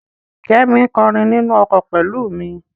Kẹ́mi ń kọrin nínú ọkọ̀ pẹ̀lú mi.